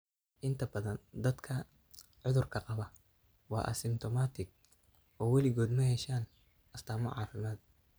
Inta badan dadka cudurka qaba waa asymptomatic oo weligood ma yeeshaan astaamo caafimaad.